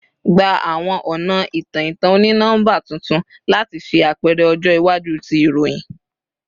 Gba awọn ọna itan-itan oni-nọmba tuntun lati ṣe apẹrẹ ọjọ iwaju ti iroyin